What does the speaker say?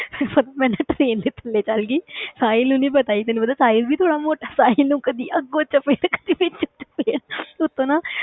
ਬਸ ਮੈਂ ਨਾ train ਵਿੱਚ ਥੱਲੇ ਚਲੇ ਗਈ ਸਾਹਿਲ ਹੋਣੀ ਪਤਾ, ਤੈਨੂੰ ਪਤਾ ਸਾਹਿਲ ਵੀ ਥੋੜ੍ਹਾ ਮੋਟਾ, ਸਾਹਿਲ ਨੂੰ ਕਦੇ ਅੱਗੋਂ ਚਪੇੜ, ਕਦੇ ਪਿੱਛੇ ਤੋਂ ਚਪੇੜ ਉਹ ਤਾਂ ਨਾ